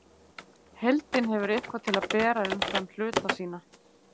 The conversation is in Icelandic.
Heildin hefur eitthvað til að bera umfram hluta sína.